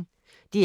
DR P1